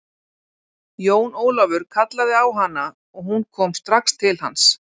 Jón ólafur kallaði á han aog hún kom strax til hans.